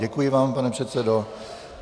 Děkuji vám, pane předsedo.